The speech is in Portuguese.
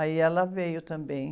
Aí ela veio também.